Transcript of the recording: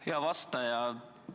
Hea vastaja!